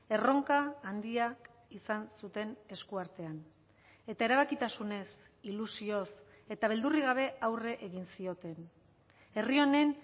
erronka handia izan zuten eskuartean eta erabakitasunez ilusioz eta beldurrik gabe aurre egin zioten herri honen